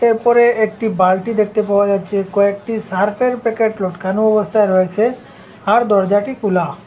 এরপরে একটি বালতি দেখতে পাওয়া যাচ্ছে কয়েকটি সার্পের প্যাকেট লটকানো অবস্থায় রয়েছে আর দরজাটি খুলা।